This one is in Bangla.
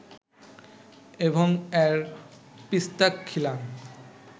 এবং এর পিস্তাক খিলান